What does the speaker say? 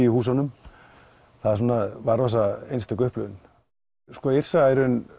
í húsunum það var einstök upplifun Yrsa